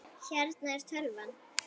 Hérna er tölvan.